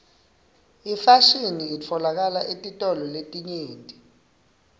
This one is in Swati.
ifashini itfolakala etitolo letinyenti